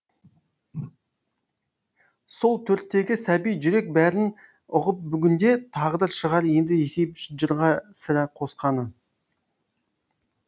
сол төрттегі сәби жүрек бәрін ұғып бүгінде тағдыр шығар енді есейіп жырға сірә қосқаны